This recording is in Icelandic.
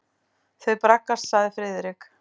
Þau braggast sagði Friðrik.